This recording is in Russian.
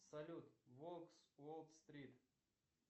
салют волк с уолл стрит